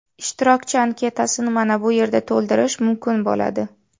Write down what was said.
Ishtirokchi anketasini mana bu yerda to‘ldirish mumkin bo‘ladi.